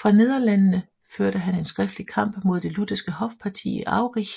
Fra Nederlandene førte han en skriftlig kamp mod det lutherske hofparti i Aurich